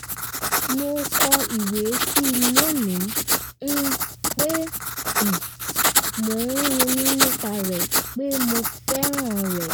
mo kọ ìwé sí i lónìí um pé mo ń ronú nípa rẹ̀ pé mo fẹ́ràn rẹ̀